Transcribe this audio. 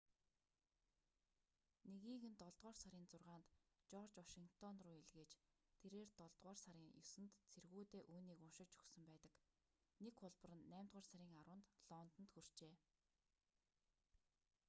нэгийг нь долдугаар сарын 6-нд жорж вашингтон руу илгээж тэрээр долдугаар сарын 9-нд цэргүүдээ үүнийг уншиж өгсөн байдаг нэг хуулбар нь наймдугаар сарын 10-нд лондонд хүрчээ